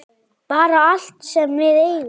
Bara allt sem við eigum.